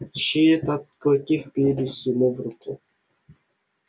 чьи это клыки впились ему в руку